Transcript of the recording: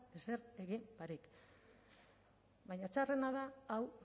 ezer egin barik baina txarrena da hau